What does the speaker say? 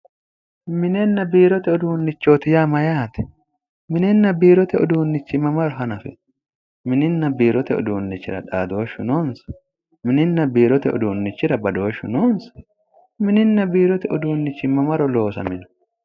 Minenna biirote uduunnichooti yaa mayyaate minenna biirote uduunnichi mamaro hanafino mininna biirote uduunnichira xaadooshshu noonsa mininna biirote uduunnichira badooshshu noonsa mininna biirote uduunnichi mamaro loosamino